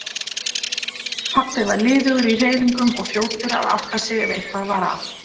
Pabbi var liðugur í hreyfingum og fljótur að átta sig ef eitthvað var að.